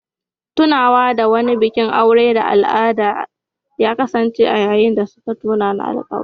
Tunawa da wani bikin aure na al'ada ya kasance a yayin da Jane da David suka yi musayar alƙawura.